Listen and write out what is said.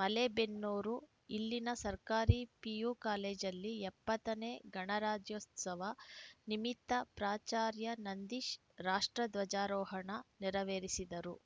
ಮಲೇಬೆನ್ನೂರು ಇಲ್ಲಿನ ಸರ್ಕಾರಿ ಪಿಯು ಕಾಲೇಜಲ್ಲಿ ಎಪ್ಪತ್ತ ನೇ ಗಣರಾಜ್ಯೋತ್ಸವ ನಿಮಿತ್ತ ಪ್ರಾಚಾರ್ಯ ನಂದೀಶ್‌ ರಾಷ್ಟ್ರ ಧ್ವಜಾರೋಹಣ ನೆರವೇರಿಸಿದರು